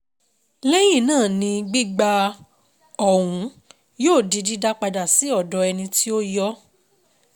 Lẹ́hìn náà ni gbígbà ọ̀hún yóò di dídá padà sí ọ̀dọ̀ ẹni tí ó yọ ọ́.